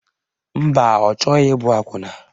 Mba, ọ chọghị ịbụ akwụna